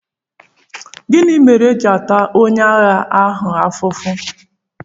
Gịnị mere e ji ata onye agha ahụ ahụhụ?